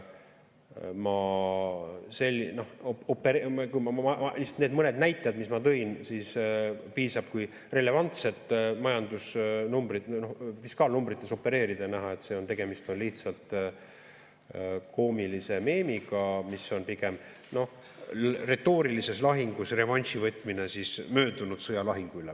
Need mõned näitajad, mis ma tõin, piisab kui relevantsetes majandusnumbrites, fiskaalnumbrites opereerida ja näha, et tegemist on lihtsalt koomilise meemiga, mis on pigem retoorilises lahingus revanši võtmine möödunud sõja lahingu üle.